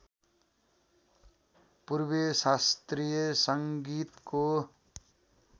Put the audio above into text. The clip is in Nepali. पूर्वीय शास्त्रिय सङ्गितको